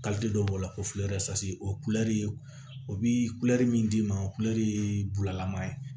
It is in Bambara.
dɔ b'o la ko o ye kulɛri ye o bɛ kulɛri min d'i ma kulɛri ye bulalama ye